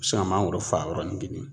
mangoro faa yɔrɔnin kelen